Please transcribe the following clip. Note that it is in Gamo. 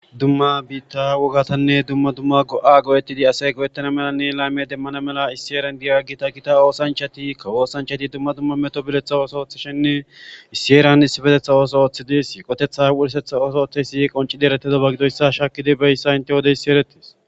dumma biitta wogatanne dumma dumma go7a go7ettidi asay go7ettana melanne layme demmana mela issieran diyagita gita oosanchati kawoosanchati dumma dumma meto biletha ooso ooththishenne issieran issibetetha ooso ooththi dees qotetha wursetha ooso otheysi qonci dieretedoba gidoyssa shakidi beyssa inte wodeyssi eretis